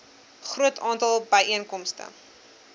groot aantal byeenkomste